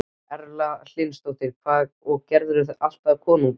Erla Hlynsdóttir: Og gerirðu það alltaf á konudaginn?